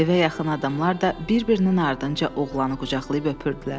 Evə yaxın adamlar da bir-birinin ardınca oğlanı qucaqlayıb öpürdülər.